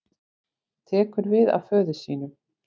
Tekur við af föður sínum